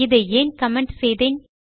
இதை ஏன் கமெண்ட் செய்தேன்